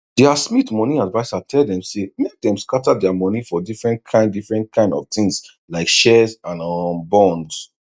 dia smith moni adviser tell dem say make dem scatter dia moni for different kain different kain of tins like shares and um bonds